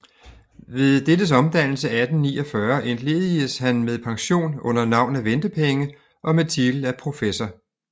Ved dettes omdannelse 1849 entledigedes han med pension under navn af ventepenge og med titel af professor